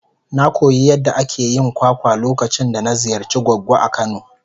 Na koyi yadda ake yin kwakwa lokacin da na ziyarci goggo a kano.